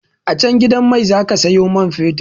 A can gidan mai zaka siyo man fetir